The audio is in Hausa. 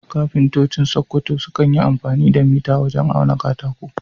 Kafintoci a Sakkwato sukan yi amfani da mita wajen auna katako.